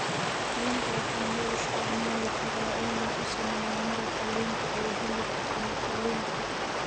Liinta waxaa loo isticmaali karaa in lagu sameeyo maraqa liinta ee hilibka ama kalluunka.